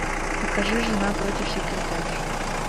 покажи жена против секретарши